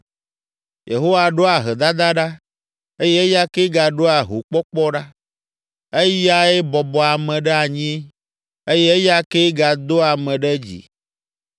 Yehowa ɖoa ahedada ɖa eye eya kee gaɖoa hokpɔkpɔ ɖa; eyae bɔbɔa ame ɖe anyi eye eya kee gadoa ame ɖe dzi.